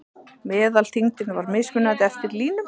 Meðalþyngdin var mismunandi eftir línum.